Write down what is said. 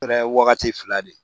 Kɛra wagati fila de ye